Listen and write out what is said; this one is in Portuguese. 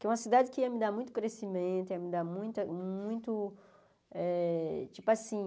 Que é uma cidade que ia me dar muito crescimento, ia me dar muita muito eh... Tipo assim...